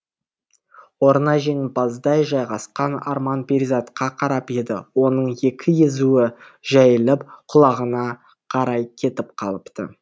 орнына жеңімпаздай жайғасқан арман перизатқа қарап еді оның екі езуі жайылып құлағына қарай кетіп қалыпты